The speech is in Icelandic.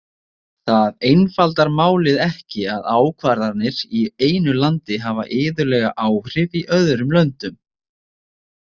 Það einfaldar málið ekki að ákvarðanir í einu landi hafa iðulega áhrif í öðrum löndum.